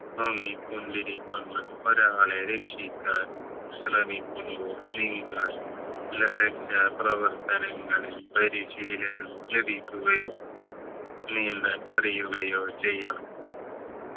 മുങ്ങിക്കൊണ്ടിരിക്കുന്ന ഒരാളെ രക്ഷിക്കാൻ ശ്രമിക്കുമ്പോൾ നിങ്ങൾ രക്ഷാ പ്രവർത്തനങ്ങളിൽ പരിശീലനം ലഭിക്കുകയോ നീന്തൽ അറിയുകയോ ചെയ്യണം